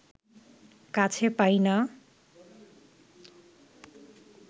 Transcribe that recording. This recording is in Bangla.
কাছে পাই না